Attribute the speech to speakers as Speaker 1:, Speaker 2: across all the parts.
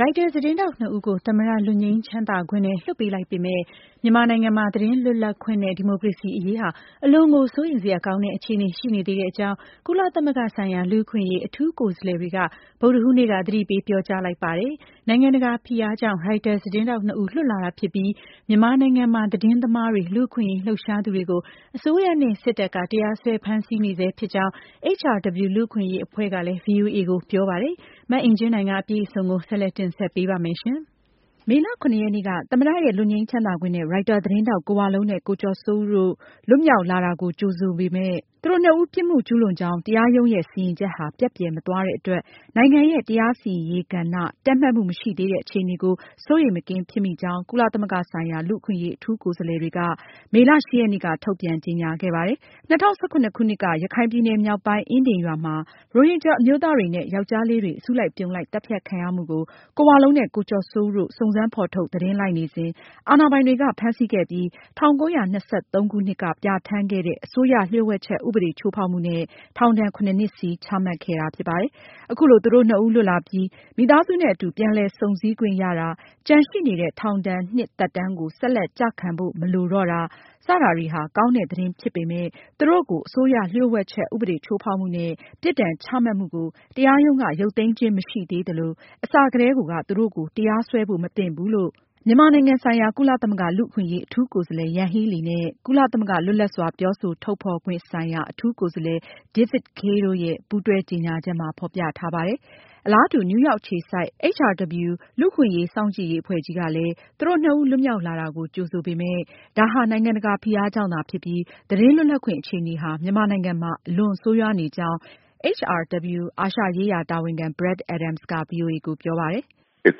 Speaker 1: ရိုက်တာ သတင်းထောက်နှစ်ဦးကို သမ္မတ လွတ်ငြိမ်းချမ်းသာခွင့်နဲ့ လွှတ်ပေးလိုက်ပေးမယ့် မြန်မာနိုင်ငံမှာ သတင်းလွတ်လပ်ခွင့်နဲ့ဒီမိုကရေစီ အရေးဟာ အလွန်ကို စိုးရိမ်စရာကောင်းတဲ့ အခြေအနေ ရှိနေသေးကြောင်း ကုလသမဂ္ဂဆိုင်ရာ လူ့အခွင့်အရေး အထူးကိုယ်စားလှယ်တွေက ဗုဒ္ဓဟူးနေ့က သတိပေး ပြောကြားလိုက်ပါတယ်။ နိုင်ငံတကာ ဖိအားကြောင့် ရိုက်တာ သတင်းထောက်နှစ်ဦး လွတ်လာတာ ဖြစ်ပြီး မြန်မာနိုင်ငံမှာ သတင်းသမားတွေ၊ လူ့အခွင့်အရေး လှုပ်ရှားသူတွေကို အစိုးရနဲ့ စစ်တပ်က တရားစွဲ ဖမ်းဆီးနေဆဲဖြစ်ကြောင်း HRW လူ့အခွင့်အရေး အဖွဲ့ကလည်း ဗွီအိုအေကို ပြောပါတယ်။ မအင်ကြင်းနိုင်က အပြည့်အစုံကို ဆက်လက်တင်ဆက်မှာပါ။ မေလ (၇) ရက်နေ့က သမ္မတရဲ့လွတ်ငြိမ်းချမ်းသာခွင့်နဲ့ရိုက်တာသတင်းထောက် က
Speaker 2: ိုဝလုံးနဲ့ ကိုကျော်စိုးဦးတို့ လွတ်မြောက်လာတာကို ကြိုဆိုပေမယ့် သူတို့နှစ်ဦး ပြစ်မှုကျူးလွန်ကြောင်း တရားရုံးရဲ့ စီရင်ချက်ဟာ ပျက်ပျယ်မသွားတဲ့အတွက် နိုင်ငံရဲ့ တရားစီရင်ရေး ကဏ္ဍ တည့်မတ်မှု မရှိသေးတဲ့ အခြေအနေကို စိုးရိမ်မကင်းဖြစ်မိကြောင်း ကုလသမဂ္ဂဆိုင်ရာ လူ့အခွင့်အရေး အထူး ကိုယ်စားလှယ်တွေက မေလ (၈) ရက်နေ့ က ထုတ်ပြန်ကြေညာခဲ့ပါတယ်။ ၂၀၁၇ ခုနှစ်က ရခိုင်ပြည်နယ် မြောက်ပိုင်း အင်ဒင်းရွာမှာ ရိုဟင်ဂျာ အမျိုးသားနဲ့ ယောကျ်ားလေးတွေ အစုလိုက်အပြုံလိုက် သတ်ဖြတ်ခံရမှုကို ကိုဝလုံးနဲ့ ကိုကျော်စိုးဦးတို့ စုံစမ်းဖေါ်ထုတ် သတင်းလိုက်နေစဉ် အာဏာပိုင်တွေက ဖမ်းဆီးခဲ့ပြီး ၁၉၂၃ ခုနှစ်က ပြဌာန်းခဲ့တဲ့ အစိုးရလျှို့ဝှက်ချက် ဥပဒေချိုးဖောက်မှုနဲ့ ထောင်ဒဏ် (၇)နှစ်စီ ချမှတ်ခဲ့တာ ဖြစ်ပါတယ်။ အခုလို သူတို့နှစ်ဦး လွတ်လာပြီး မိသားစုနဲ့အတူ ပြန်လည်စုံဆည်ခွင့်ရတာ၊ ကျန်ရှိနေတဲ့ ထောင်ဒဏ် နှစ်သက်တမ်းကို ဆက်လက် ကျခံဖို့ မလိုတော့တာ တွေဟာ ကောင်းတဲ့ သတင်းဖြစ်ပေမယ့် သူတို့ကို အစိုးရလျှို့ဝှက်ချက် ဥပဒေချိုးဖောက်မှုနဲ့ ပြစ်ဒဏ်ချမှတ်မှုကို တရားရုံးက ရုပ်သိမ်းခြင်းမရှိသေး သလို၊ အစကတည်းကိုက သူတို့ကို တရားစွဲဖို့ မသင့်ဘူးလို့ မြန်မာနိုင်ငံဆိုင်ရာ ကုလသမဂ္ဂ လူအခွင့်အရေး အထူးကိုယ်စားလှယ် Yanghee Lee နဲ့ ကုလသမဂ္ဂ လွတ်လပ်စွာ ပြောဆိုထုတ်ဖေါ်ခွင့် ဆိုင်ရာ အထူးကိုယ်စားလှယ် David Kaye တို့ ရဲ့ ပူးတွဲကြေညာချက်မှာ ဖေါ်ပြထားပါတယ်။ အလားတူ နယူးယောက်အခြေစိုက် HRW လူ့အခွင့်အရေး စောင့်ကြည့်ရေး အဖွဲ့ကြီးကလည်း သူတို့နှစ်ဦး လွတ်မြောက်လာတာကို ကြိုဆိုပေမဲ့ ဒါဟာ နိုင်ငံတကာ ဖိအားကြောင့်သာ ဖြစ်ပြီး သတင်းလွတ်လပ်ခွင့် အခြေအနေဟာ မြန်မာနိုင်ငံမှာ အလွန်ဆိုးရွာနေကြောင်း HRW အာရှရေးရာ တာဝန်ခံ Brad Adams က ဗွီအိုအေကို ပြောပါတယ်။
Speaker 3: “ ရိုက်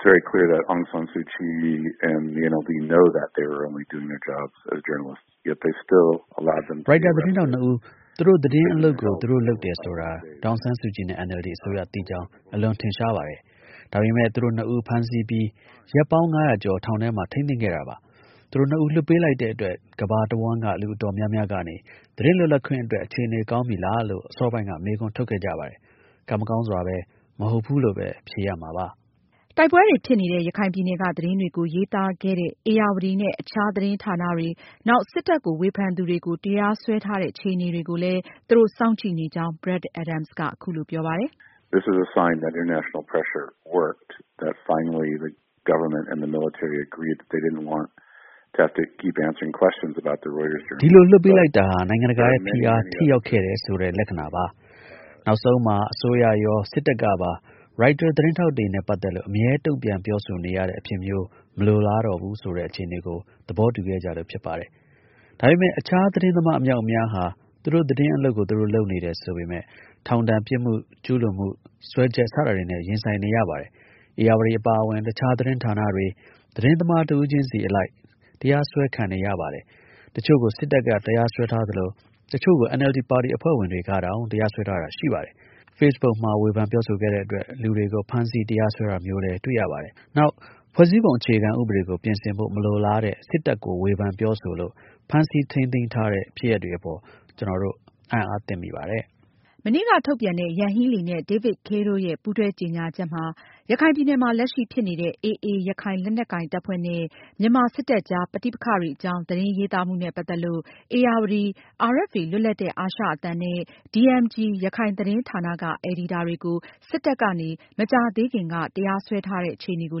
Speaker 3: တာ သတင်းထောက်နှစ်ဦး သူတို့ သတင်းအလုပ်ကို သူတို့လုပ်တယ်ဆိုတာ ဒေါ်အောင်ဆန်းစုကြည်နဲ့ NLD အစိုးရ သိကြောင်း အလွန်ထင်ရှားပါတယ်။ ဒါပေမဲ့ သူတို့နှစ်ဦး ဖမ်းဆီးပြီး ရက်ပေါင်း ၅၀၀ ကျော် ထောင်ထဲမှာ ထိမ်းသိမ်းခဲ့တာပါ။ သူတို့နှစ်ဦး လွှတ်ပေးလိုက်တဲ့အတွက် ကမ္ဘာတဝန်းက လူအတော်များများကနေ သတင်းလွတ်လပ်ခွင့်အတွက် အခြေအနေကောင်း ဖြစ်လာပြီးလားလို့ အစောပိုင်းက မေးခွန်းထုတ်ခဲ့ကြပါတယ်။ ကံမကောင်းစွာပဲ မဟုတ်ဘူးလို့ပဲ ဖြေရမှာပါ။”
Speaker 2: တိုက်ပွဲတွေ ဖြစ်နေတဲ့ ရခိုင်ပြည်နယ်က သတင်းတွေကို ရေးသားခဲ့တဲ့ ဧရာဝတီ နဲ့ အခြား သတင်းဌာနတွေ၊ နောက် စစ်တပ်ကို ဝေဖန်သူတွေကို တရားစွဲထားတဲ့ အခြေအနေကိုလည်း သူတို့ စောင့်ကြည့်နေကြောင်း Brad Adams က အခုလိုပြောပါတယ်။
Speaker 3: “ ဒီလို လွှတ်ပေးလိုက်တာဟာနိုင်ငံတကာရဲ့ ဖိအား ထိရောက်ခဲ့တယ်ဆိုတဲ့ လက္ခဏာပါ။ နောက်ဆုံးမှာ အစိုးရရော၊ စစ်တပ်ကပါ ရိုက်တာ သတင်းထောက်တွေနဲ့ ပတ်သက်လို့ အမြဲတုန့်ပြန် ပြောဆိုနေရတဲ့ အဖြစ်မျိုး မလိုလားတော့ဘူးဆိုတဲ့ အခြေအနေကို သဘောတူခဲ့ကြလို့ ဖြစ်ပါတယ်။ ဒါပေမယ့် အခြား သတင်းသမား အမြောက်အများဟာ သူတို့ သတင်းအလုပ်ကို သူတို့လုပ်တယ်ဆိုပေမယ့် ထောင်ဒဏ်၊ ပြစ်မှုကျူးလွန်မှု စွဲချက် စတာတွေနဲ့ ရင်ဆိုင်နေရပါတယ်။ ဧရာဝတီအပါအဝင် အခြား သတင်းဌာနတွေ၊ သတင်းသမားတဦးချင်းစီ အလိုက် တရားစွဲခံနေရပါတယ်။ တချို့ကို စစ်တပ်က တရားစွဲထားသလို၊ တချို့ကို NLD ပါတီအဖွဲ့ဝင်တွေကတောင် တရားစွဲထားတာတွေရှိပါတယ်။ Facebook မှာ ဝေဖန်ပြောဆိုခဲ့တဲ့အတွက် လူတွေကို ဖမ်းဆီး၊ တရားစွဲတာမျိုးလည်း တွေ့ရပါတယ်။ နောက် ဖွဲ့စည်းပုံ အခြေခံဥပဒေကို ပြင်ဆင်ဖို့ မလိုလားတဲ့ စစ်တပ်ကို ဝေဖန်ပြောဆိုလို့ ဖမ်းဆီး ထိန်းသိမ်းတဲ့ ဖြစ်ရပ်တွေအပေါ် ကျနော်တို့ အံသြသင့်မိပါတယ်။”
Speaker 2: မနေ့က ထုတ်ပြန်တဲ့ Yanghee Lee နဲ့ David Kaye တို့ရဲ့ပူးတွဲကြေညာချက်မှာလည်း ရခိုင်ပြည်နယ်မှာ လက်ရှိဖြစ်နေတဲ့ AA ရခိုင်လက်နက်ကိုင် တပ်ဖွဲ့နဲ့မြန်မာစစ်တပ်ကြား ပဋိပက္ခတွေ အကြောင်း သတင်းရေးသားမှုနဲ့ ပတ်သက်လို့ ဧရာဝတီ၊ RFA လွတ်လပ်တဲ့အာရှအသံနဲ့DMG ရခိုင်သတင်းဌာနက အယ်ဒီတာတွေကို စစ်တပ်ကနေ မကြာသေးခင်က တရားစွဲထားတဲ့ အခြေအနေကို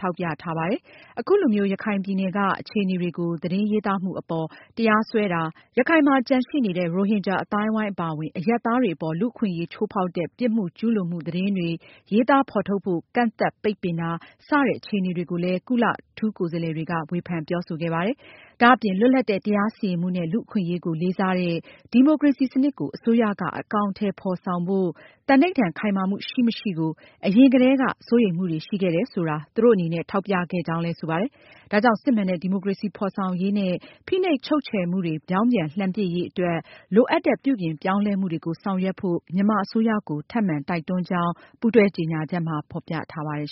Speaker 2: ထောက်ပြထားပါတယ်။ အခုလိုမျိုး ရခိုင်ပြည်နယ်က အခြေအနေတွေကို သတင်းရေးသားမှု အပေါ် တရားစွဲတာ၊ ရခိုင်မှာ ကျန်ရှိနေတဲ့ ရိုဟင်ဂျာ အသိုင်းအဝိုင်း အပါအဝင် အရပ်သားတွေအပေါ် လူ့အခွင့်အရေးချိူးဖောက်တဲ့ ပြစ်မှုကျူးလွန်မှု သတင်းတွေ ရေးသားဖေါ်ထုတ်ဖို့ ကန့်သတ်ပိတ်ပင်တာ စတဲ့အခြေအနေတွေကိုလည်းကုလ အထူးကိုယ်စားလှယ်တွေက ဝေဖန်ပြောဆိုခဲ့ပါတယ်။ ဒါအပြင် လွတ်လပ်တဲ့ တရားစီရင်မှုနဲ့ လူ့အခွင့်အရေးကို လေးစားတဲ့ ဒီမိုကရေစီစနစ်ကို အစိုးရက အကောင်အထည် ဖေါ်ဆောင်ဖို့ သံဓိဌာန် ခိုင်မာမှု ရှိမရှိကို အရင်ကတည်းက စိုးရိမ်မှုတွေရှိခဲ့တယ်ဆိုတာ သူတို့အနေနဲ့ ထောက်ပြခဲ့ကြောင်းလည်း ဆိုပါတယ်။ ဒါကြောင့် စစ်မှန်တဲ့ ဒီမိုကရေစီ ဖေါ်ဆောင်ရေးနဲ့ ဖိနှိပ်ချုပ်ချယ်မှုတွေ ပြောင်းပြန်လှန်ပစ်ရေး အတွက် လိုအပ်တဲ့ ပြုပြောင်းလဲမှုတွေကို ဆောင်ရွက်ဖို့ မြန်မာအစိုးရကို ထပ်မံတိုက်တွန်းကြောင်း ပူးတွဲကြေညာချက်မှာ ဖေါ်ပြထားပါတယ်